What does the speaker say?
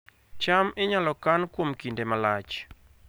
cham inyalo kan kuom kinde malach